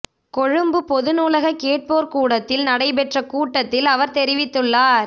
கொழும்பு பொது நூலக கேட்போர் கூடத்தில் நடைபெற்ற கூட்டத்தில் அவர் தெரிவித்துள்ளார்